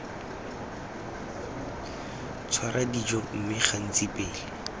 tshwara dijo mme gantsi pele